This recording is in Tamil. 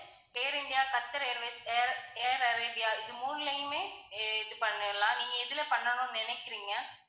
ஏர் India, Qatar Airways, Air Arabia இது மூணுலயுமே இது பண்ணிடலாம். நீங்க எதுல பண்ணனும்னு நினைக்குறீங்க?